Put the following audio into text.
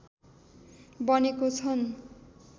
बनेको छन्